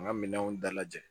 An ka minɛnw dalajɛ